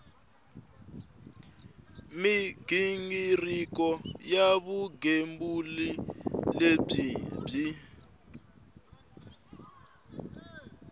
mighingiriko ya vugembuli lebyi byi